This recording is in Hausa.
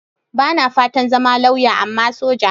Ba na fatan zama lauya, amma soja.